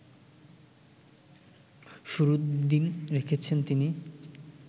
শুরুর দিন রেখেছেন তিনি